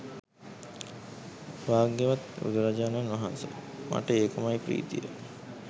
භාග්‍යවත් බුදුරජාණන් වහන්ස මට ඒකමයි ප්‍රීතිය